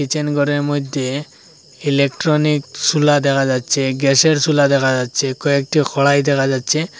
Kitchen ঘরের মইধ্যে electronic সুলা দেখা যাচ্ছে গ্যাসের সুলা দেখা যাচ্ছে কয়েকটি খড়াই দেখা যাচ্ছে।